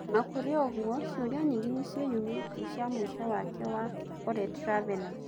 Ona-kũrĩoũguo cioria nyingĩ nĩciĩyumĩrĩtie cia mũico wake wa OleTravellers.